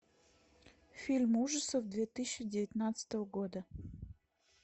фильм ужасов две тысячи девятнадцатого года